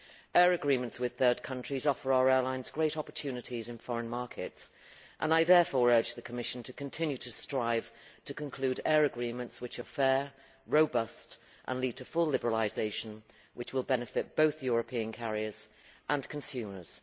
Air agreements with third countries offer our airlines great opportunities in foreign markets, and I therefore urge the Commission to continue to strive to conclude air agreements which are fair, robust and lead to full liberalisation, which will benefit both European carriers and consumers.